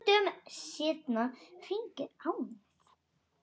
Nokkrum dögum seinna hringir Agnes.